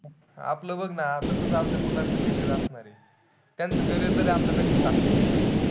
आपलं बघ ना, असच आपल्या मुलांचं carrier असणारे. त्यांचं carrier तरी आपल्यापेक्षा चांगलं असलं पाहिजे.